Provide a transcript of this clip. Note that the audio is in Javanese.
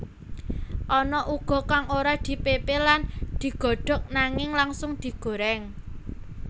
Ana uga kang ora dipepe lan digodhog nanging langsung digoreng